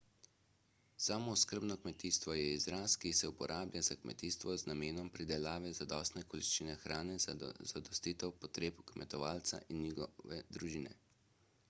samooskrbno kmetijstvo je izraz ki se uporablja za kmetijstvo z namenom pridelave zadostne količine hrane za zadostitev potreb kmetovalca in njegove družine